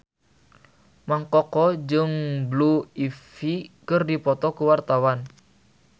Mang Koko jeung Blue Ivy keur dipoto ku wartawan